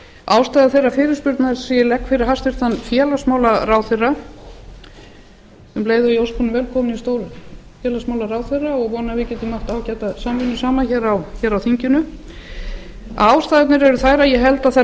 ástæða þeirrar fyrirspurnar sem ég legg fyrir hæstvirtan félagsmálaráðherra um leið og ég óska hann velkominn í stólinn og vona að við getum átt ágæta samvinnu saman hér á þinginu ástæðurnar eru þær að ég held að þær